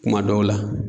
Kuma dɔw la